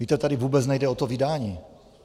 Víte, tady vůbec nejde o to vydání.